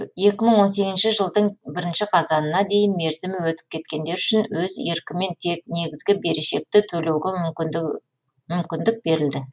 екі мың он сегізінші жылдың бірінші қазанына дейін мерзімі өтіп кеткендер үшін өз еркімен тек негізгі берешекті төлеуге мүмкіндік берілді